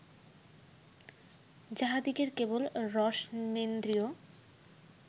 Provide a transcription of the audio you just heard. যাঁহাদিগের কেবল রসনেন্দ্রিয়